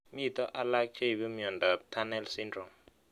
Mito alak cheipu miondop Tunnel syndrome